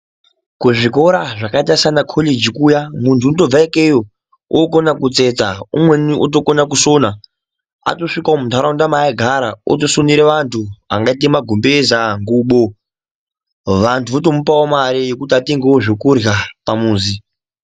Kuzvikora zvakaita sanakoriji kuya, muntu unotobva ikeyo okona kutsetsa, umweni otokona kusona. Atosvika muntaraunda maaigara, otosonere vantu angaite magumbeza, ngubo vantu votomupawo mare yekuti atenge zvekurya pamuzi.